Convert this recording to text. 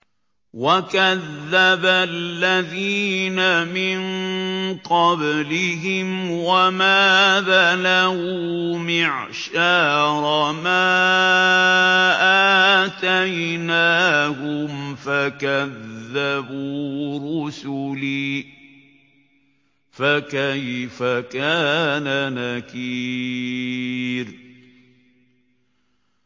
وَكَذَّبَ الَّذِينَ مِن قَبْلِهِمْ وَمَا بَلَغُوا مِعْشَارَ مَا آتَيْنَاهُمْ فَكَذَّبُوا رُسُلِي ۖ فَكَيْفَ كَانَ نَكِيرِ